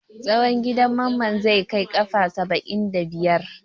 Tsawon gidan Mamman zai kai kafa saba'in da biyar.